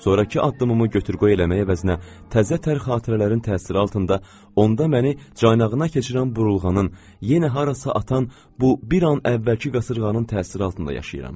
Sonrakı addımımı götür qoy eləmək əvəzinə təzə tər xatirələrin təsiri altında onda məni çaynağına keçirən burulğanın yenə harasa atan bu bir an əvvəlki qasırğanın təsiri altında yaşayıram.